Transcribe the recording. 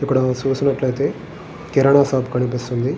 ఇక్కడ చూసినట్లయితే కిరాణా షాప్ కనిపిస్తున్నది.